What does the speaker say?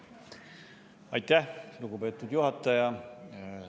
Aitäh, lugupeetud juhataja!